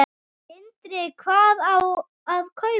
Sindri: Hvað á að kaupa?